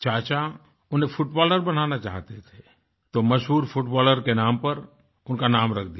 चाचा उन्हें फुटबॉलर बनाना चाहते थे तो मशहूर फुटबॉलर के नाम पर उनका नाम रख दिया